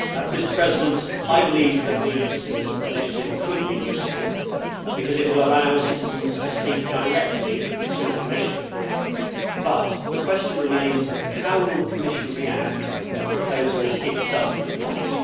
Mr President, I believe that the citizens' initiative could be useful because it will allow citizens to speak directly to the Commission, but the question remains as to how the Commission will react to proposals it does not like.